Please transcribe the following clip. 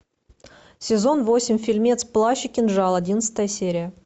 сезон восемь фильмец плащ и кинжал одиннадцатая серия